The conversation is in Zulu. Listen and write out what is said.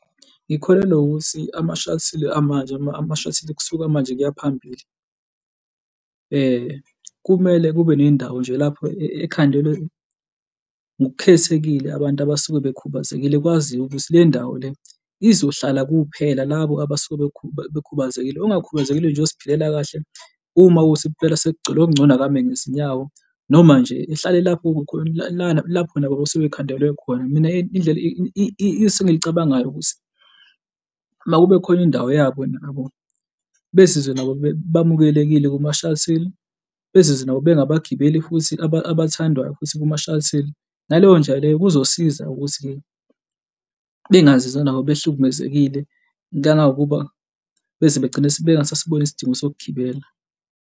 Ngikholelwa ukuthi ama-shuttle amanje, ama-shuttle kusuka manje kuya phambili kumele kube ney'ndawo nje lapho ekhandelwe ngokukhethekile abantu abasuke bekhubazekile kwaziwe ukuthi le ndawo le izohlala kuphela labo abasuke bekhubazekile ongakhubazekile nje oziphilela kahle, uma kuwukuthi impela sekugcwele okungcono akame ngezinyawo noma nje ehlale lapho, kukhona lana lapho nabo abasuke bekhandelwe khona. Mina indlela isu engilicabangayo ukuthi, uma kube khona indawo yabo nje nabo bezizwe nabo bamukelekile kuma-shuttle, bezizwe nabo bengabagibeli futhi abathandwayo futhi kuma-shuttle. Ngaleyo ndlela leyo kuzosiza ukuthi-ke bengazizwa nabo behlukumezekile kangangokuba beze begcine bengasasiboni isidingo sokugibela.